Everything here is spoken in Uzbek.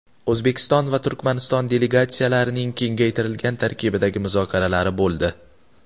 O‘zbekiston va Turkmaniston delegatsiyalarining kengaytirilgan tarkibdagi muzokaralari bo‘ldi.